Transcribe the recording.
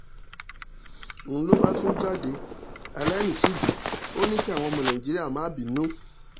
n ló bá tún jáde aláìnítìjú ò ní kí àwọn ọmọ nàìjíríà má bínú